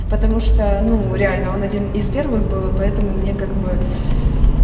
потому что ну реально он один из первых был поэтому мне как бы